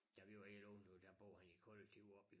Da vi var helt unge du ved der boede han i kollektivet oppe ved